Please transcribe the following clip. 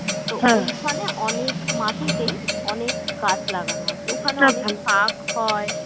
ঐখানে অনেক মাটিতেই অনেক গাছ লাগানো আছে ওখানে শাক হয়